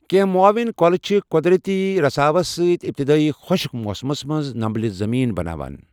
کٮ۪نٛہہ معاوِن کۄلہٕ چھِ قۄدرتی رساوس سۭتۍ ابتِدٲیی خۄشک موسمس منٛزنمبلہِ زمیٖن بناوان۔